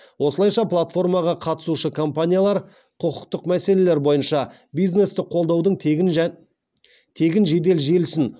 осылайша платформаға қатысушы компаниялар құқықтық мәселелер бойынша бизнесті қолдаудың тегін жедел желісін